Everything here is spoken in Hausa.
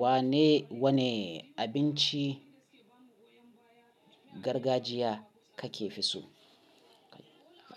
Wane, wane abinci gargajiya kake fi so?